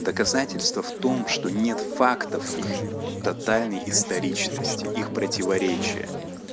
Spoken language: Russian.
доказательства в том что нет фактов их тотальный историчности их противоречия